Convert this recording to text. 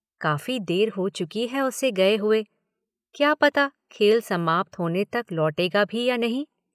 काफ़ी देर हो चुकी है उसे गए हुए क्या पता खेल समाप्त होने तक लौटेगा भी या नहीं?